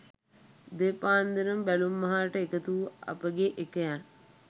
උදේ පාන්දරම බැලුම්මහරට එකතු වූ අපගේ එකයන්